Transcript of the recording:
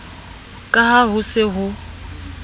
ka ha ho se ho